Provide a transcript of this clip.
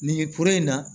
Nin kuru in na